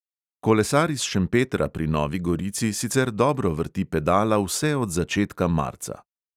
Kolesar iz šempetra pri novi gorici sicer dobro vrti pedala vse od začetka marca.